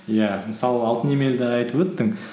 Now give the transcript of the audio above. иә мысалы алтын емелді айтып өттің